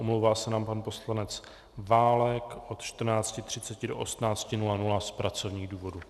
Omlouvá se nám pan poslanec Válek od 14.30 do 18.00 z pracovních důvodů.